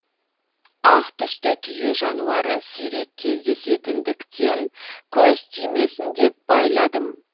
ақ түсті түйе жануары сирек кездесетіндіктен көз тимесін деп байладым